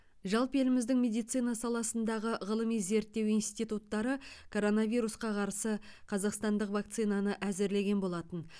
жалпы еліміздің медицина саласындағы ғылыми зерттеу институттары коронавирусқа қарсы қазақстандық вакцинаны әзірлеген болатын